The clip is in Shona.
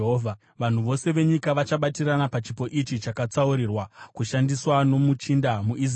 Vanhu vose venyika vachabatirana pachipo ichi chakatsaurirwa kushandiswa nomuchinda muIsraeri.